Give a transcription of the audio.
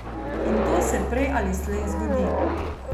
In to se prej ali slej zgodi.